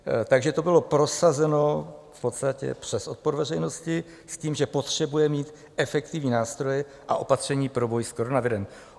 Takže to bylo prosazeno v podstatě přes odpor veřejnosti s tím, že potřebuje mít efektivní nástroje a opatření pro boj s koronavirem.